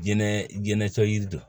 Jɛnɛ jɛnɛtɛ yiri don